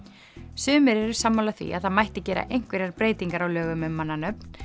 sumir eru sammála því að það mætti gera einhverjar breytingar á lögum um mannanöfn